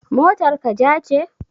Motar ka ja ce?